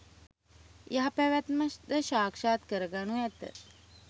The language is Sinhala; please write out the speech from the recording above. යහ පැවැත්ම ද සාක්‍ෂාත් කර ගනු ඇත.